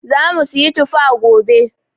Zamu siyi tufa gobe.